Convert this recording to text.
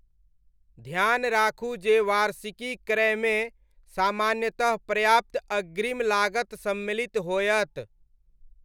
ध्यान राखू जे वार्षिकी क्रयमे सामान्यतः पर्याप्त अग्रिम लागत सम्मिलित होयत।